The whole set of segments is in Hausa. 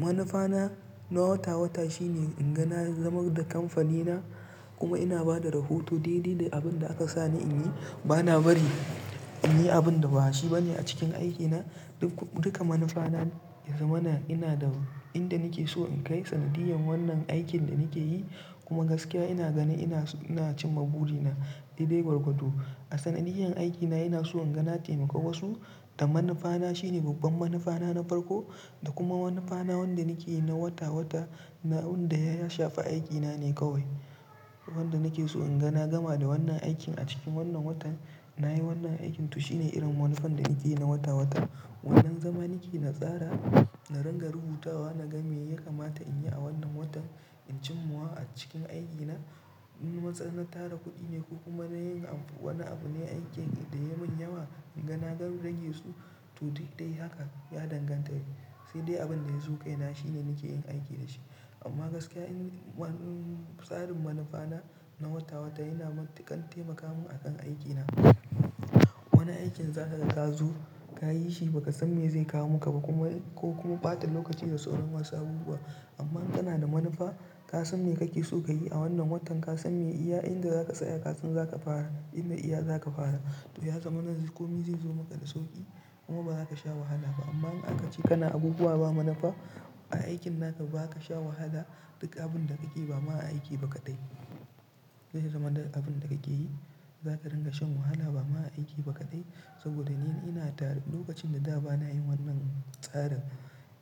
Manufa na na wata-wata shine inga na zama da kamfani na kuma ina bada rahoto daidai da abin da aka sani in yi. Bana bari in yi abin da ba shi ba ne a cikin aiki na. Duk-duka manufa na, ya zama na ina da inda nake so in kai sanadiyan wannan aikin da nake yi kuma gaskiya ina ganin ina-ina cimma buri na daidai gwargwado. A sanadiyan aiki na ina so inga na taimakawa su da manufa na shine babban manufa na, na farko da kuma manufa na wanda nake yi na wata-wata. Na wanda ya shafa aikina ne kawai. Wanda nake so inga na gama da wannan aikin a cikin wannan watan. Na yi wannan aikin to shine irin manufan da nake yi na wata-wata. Wanna zama nake na tsara, na ringa rubutawa, na ga me ya kamata in yi a wannan watan, in cimma wa a cikin aiki na. In matsa na tara kuɗi ne ko kuma na yin abu, wani abu ne aikin da ya mun yawa inga na gan rage su. To, duk da haka ya danganta sai dai abin da ya zo kai na shine nake yin aiki da shi. Amma gaskiya in, tsarin manufa na, na wata-wata yana kan taimaka mun akan aiki na. Wani aikin za ta ga ka zo ka yi shi ba ka san me zai kawo maka ba kuma ko kuma ɓata lokaci da tsoron wasu abubuwa. Amma in kana da manufa, ka san me kake so ka yi a wannan watan, ka san me iya inda zaka tsaya, ka san zaka fara inda iya zaka fara. To ya zama nan kome zai zo maka da sauƙi kuma ba zaka sha wahala ba. Amma in aka ce kana abubuwa ba manufa a aikin naka ba ka sha wahala. Duk abin da kake yi ba ma aiki ba kaɗai. Zai zama d-abin da kake yi, zaka ringa shan wahala ba ma aiki ba kaɗai. Saboda ni ina tare lokacin da da ba na yi wannan tsara,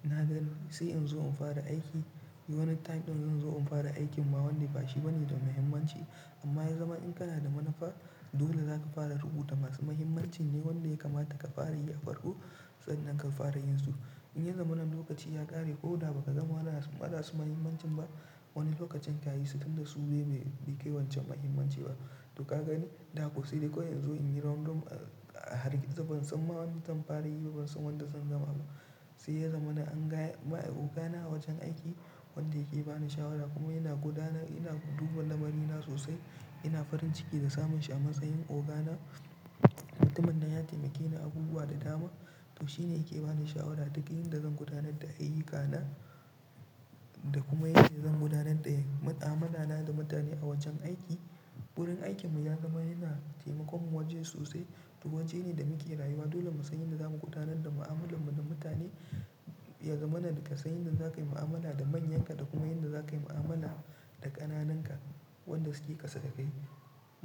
na gan sai in zo in fara aiki wani time ɗin, zan zo in fara aikin ma wanda ba shi ba ne da muhimmanci. Amma ya zama in kana da manufa, dole zaka fara rubuta masu muhimmancin ne wanda ya kamata ka fara yi a farko. Sai nan ka fara yin su. In ya zama nan lokaci ya ƙare ko da ba ka zama wada su, waɗa su muhimmancin ba, wani lokacin ka yi su tun da su bai-bai kai wance muhimmanci ba. To ka gani, da haka sai dai kawai in zo in yi round of, eh, a har ki, ban san ma wanda zan fara yi ba, ban san wanda zan gama ba. Sai ya zama na anga, oga na a wajen aiki wanda yake ba ni shawara kuma yana gudanar, yana duba lamari na sosai. Ina farin ciki da samun shi a matsayin oga na. Mutumin nan ya taimake ni abubuwa da dama. To shine yake ba ni shawara duk yin da zan gudanar da ayuka na da kuma yadda zan gudanar da ma'amala na da mutane a wajen aiki. Ɓuin aikin mu ya zama yana taimakon mu wajen sosai. To wajene da muke rayuwa dole mu san yadda zamu gudanar da mu'amalan mu da mutane. Ya zama nan ka san yadda zakayi mu'amala da manyan ka da kuma yadda zakayi mu'amala da ƙananan ka. Wanda suke ƙasa da kai.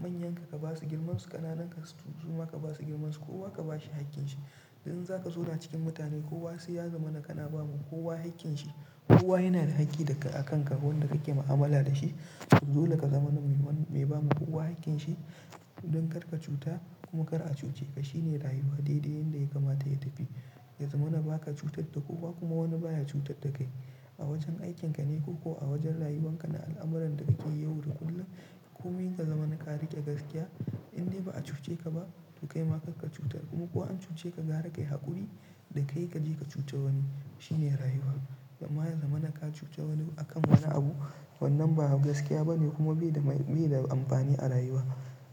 Manyan ka ka basu girmansu, ƙananan ka kuma ka basu girmansu. Kowa ka ba shi hakkin shi. In zaka zo na cikin mutane kowa sai ya zama nakana, ba muku kowa hakkin shi. Kowa yana da hakki daga akan ka wanda kake mu'amala da shi. Dole ka zama nan mai ba ma kowa hakkin shi don kar ka cuta kuma kar a cuce ka. Shine rayuwa. Daidai yanda ya kamata ya tafi. Ya zama na ba ka cutar da kowa kuma wani baya cutar da kai. A wajen aikin ka ne ko kuwa wajen rayuwan ka na al'amuran da kake yawar kullum. Komi ka zama nakara ke gaskiya inda ba a cuce ka ba to kai ma kar ka cutar. Kuma kuwa an cuce ka gara kai haƙuri da kai ka je ka cuce wani. Shine rayuwa. Da ma ya zama naka cuce wani akan wani abu wannan ba gaskiya ba ne kuma bai da mai, bai da amfani a rayuwa.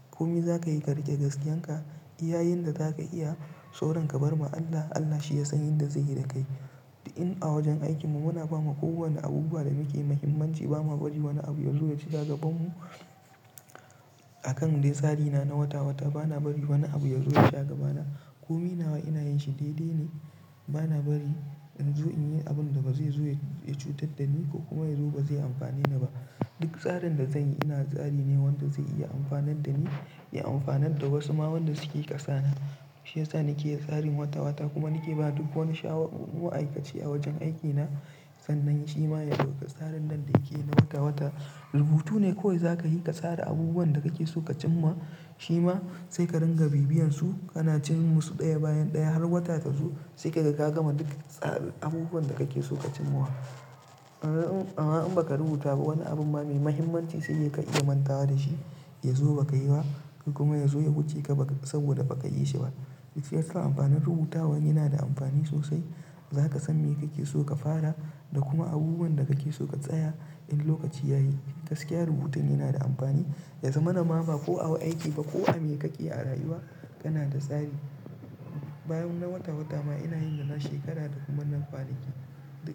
Komi za ka yi ka riƙe gaskiyan ka iyayin da zaka iya. Tsoron ka bar ma Allah, Allah shi ya san yadda zai yi da kai. In a wajen aikin mu muna ba ma kowa na abubuwa da muke mahimmanci ba ma bari wani abu ya zo ya ci zagaben mu. Akan dai tsari na, na wata-wata bana bari wani abu ya zo ya shagaba na. Komi nawa ina yin shi daidai ne. Bana bari in zo in yi abun da ba zai zo ya cutar da ni ko kuma ya zo ba zai amfane ni ba. Duk tsarin da zanyi ina tsari ne wanda zai iya amfanar da ni, ya amfanar da wasu ma wanda suke ƙasa na. Shine tsari nake yi tsarin wata-wata kuma nake ba duk wani shawa, ma'aikaci a wajen aiki na sannan shi ma ya bi tsarin nan da yake na maka wata. Rubutu ne kawai za ka yi ka tsara abubuwan da kake so ka cimma shi ma sai ka ringa bibiyan su. Kana cin musu ɗaya bayan ɗaya har wata ta zo sai ka ga ka gama duk tsarin abubuwan da kake so ka cimma wa. Amma in ba ka rubuta ba wani abun ba mai muhimmanci sai dai ka iya mantawa da shi, ya zo ba ka yi ba kuma ya zo ya wuce ka ba saboda ba ka yi shi ba. Shine tsarin amfanin rubutawan yana da amfani sosai. Za ka san me kake so ka fara da kuma abubuwan da kake so ka tsaya in lokaci ya yi. Gaskiya rubutun yana da amfani. Ya zama na ma ba ko a aiki ba ko a me kake a rayuwa kana da tsari. Bayan na wata-wata ma ina yin yana shekara da kuma na kwana ki. Da.